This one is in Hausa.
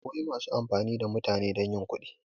Akwai masu amfani da mutane don yin kudi